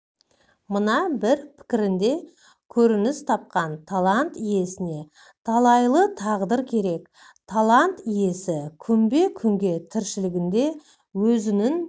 мына бір пікірінде көрініс тапқан талант иесіне талайлы тағдыр керек талант иесі күнбе-күнгі тіршілігінде өзінің